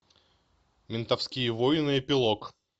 ментовские войны эпилог